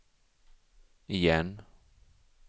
igen